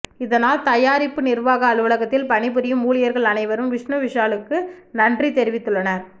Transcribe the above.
இதனால் தயாரிப்பு நிர்வாக அலுவலகத்தில் பணிபுரியும் ஊழியர்கள் அனைவரும் விஷ்ணு விஷாலுக்கு நன்றி தெரிவித்துள்ளனர்